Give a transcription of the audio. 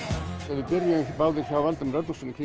við byrjuðum báðir hjá Valdimar